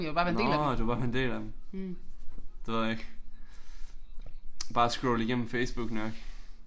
Nåh du vil bare være en del af dem. Det ved jeg ikke bare scroll igennem Facebook nok